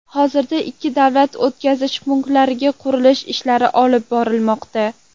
Hozirda ikki davlat o‘tkazish punktlarida qurilish ishlari olib borilmoqda.